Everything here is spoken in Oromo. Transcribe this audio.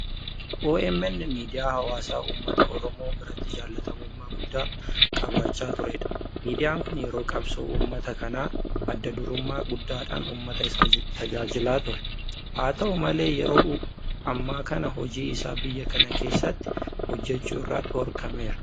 OMN miidiyaa hawaasaa uummata oromoo biratti jaalatamummaa guddaa qabaachaa turedha. Miidiyaan kun yeroo qabsoo uummata kanaa adda durummaa guddaadhaan uummata isaa tajaajilaa ture. Haa ta'u malee yeroo ammaa kana hojii isaa biyya kana keessatti hojjechuu irraa dhorkameera.